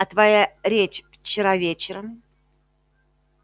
а твоя речь вчера вечером